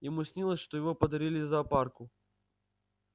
ему снилось что его подарили зоопарку